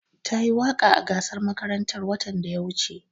Tayi waƙa a gasar makarantar watan da ya wuce.